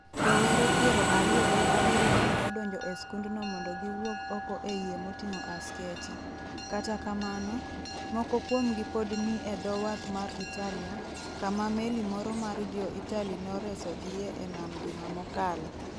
Rowere piero ariyo gi abirio ne odonjo e skundno mondo giwuog oko e yie motingʼo askeche. Kata kamano, moko kuomgi pod ni e dho wath mar Italia, kama meli moro mar jo Italy noresogie e nam juma mokalo.